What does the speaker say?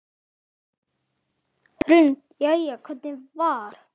Hrund: Jæja, hvernig var?